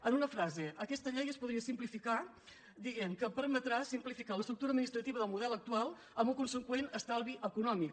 en una frase aquesta llei es podria simplificar dient que permetrà simplificar l’estructura administrativa del model actual amb el conseqüent estalvi econòmic